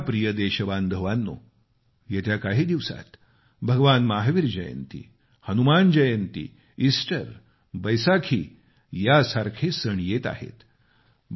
माझ्या प्रिय देशबांधवांनो येत्या काही दिवसांत भगवान महावीर जयंती हनुमान जयंती ईस्टर बैसाखी सारखे अनेक सण येत आहेत